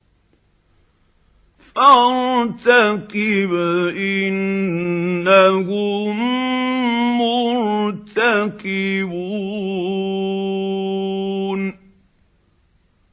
فَارْتَقِبْ إِنَّهُم مُّرْتَقِبُونَ